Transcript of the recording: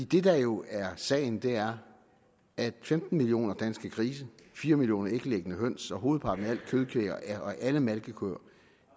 det der jo er sagen er at femten millioner danske grise fire millioner æglæggende høns og hovedparten af alt kødkvæg og alle malkekøer